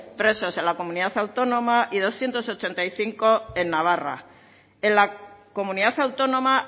presos en la comunidad autónoma y doscientos ochenta y cinco en navarra en la comunidad autónoma